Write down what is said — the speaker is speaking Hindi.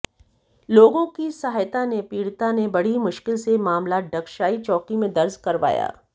लोगों की सहायता ने पीडि़ता ने बड़ी मुश्किल से मामला डगशाई चौकी में दर्ज करवाया